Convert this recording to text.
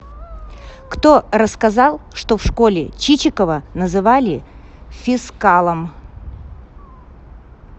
кто рассказал что в школе чичикова называли фискалом